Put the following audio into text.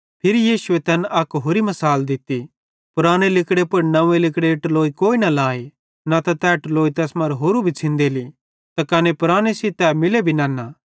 फिरी यीशु तैन अक होरि मसाल दित्ती पुराने लिगड़े पुड़ नंव्वे लिगड़ेरी टलोई कोई न लाए नता तै टलोई तैस मरां होरू भी छ़िंदेली ते कने पुराने सेइं तै मिले भी नन्ना